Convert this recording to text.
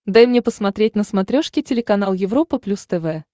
дай мне посмотреть на смотрешке телеканал европа плюс тв